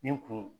Nin kun